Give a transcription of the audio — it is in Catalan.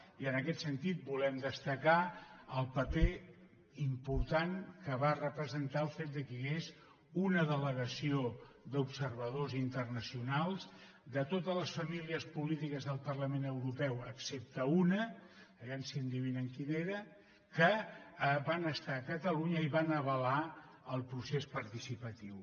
i en aquest sentit volem destacar el paper important que va representar el fet que hi ha·gués una delegació d’observadors internacionals de totes les famílies polítiques del parlament europeu excepte una vejam si endevinen quina era que van estar a catalunya i van avalar el procés participatiu